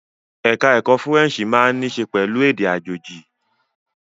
Ẹ̀ka ẹ̀kó Fúrẹ́ǹṣì máa ní í ṣe pẹ̀lú èdè àjèjì.